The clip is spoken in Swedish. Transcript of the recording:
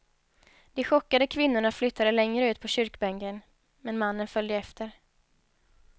De chockade kvinnorna flyttade längre ut på kyrkbänken, men mannen följde efter.